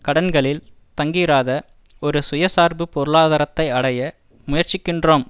கடன்களில் தங்கியிராத ஒரு சுயசார்பு பொருளாதாரத்தை அடைய முயற்சிக்கின்றோம்